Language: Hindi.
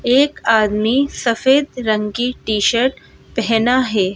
एक आदमी सफेद रंग की टी_शर्ट पहना है।